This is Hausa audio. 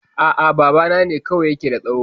A'a, babana ne kawai ya ke da tsaho